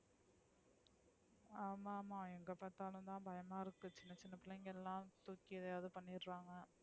ஆமா ஆமா எங்க பாத்தாலும் தான் பயமா இருக்கு சின்ன சின்ன பிளைங்களலா தூக்கி எதாவது பண்ணிரங்க,